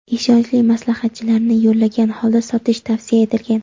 ishonchli maslahatchilarni yollagan holda sotish tavsiya etilgan.